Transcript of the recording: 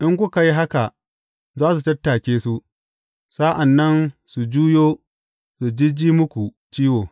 In kuka yi haka za su tattake su, sa’an nan su juyo su jijji muku ciwo.